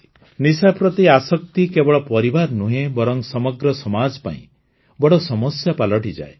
ନିଶା ପ୍ରତି ଆସକ୍ତି କେବଳ ପରିବାର ନୁହେଁ ବରଂ ସମଗ୍ର ସମାଜ ପାଇଁ ବଡ଼ ସମସ୍ୟା ପାଲଟିଯାଏ